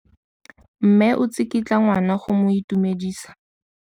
Mme o tsikitla ngwana go mo itumedisa.